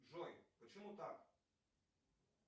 джой почему так